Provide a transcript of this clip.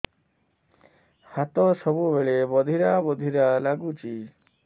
ହାତ ସବୁବେଳେ ବଧିରା ବଧିରା ଲାଗୁଚି